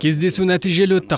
кездесу нәтижелі өтті